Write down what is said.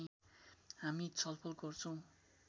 हामी छलफल गर्छौँ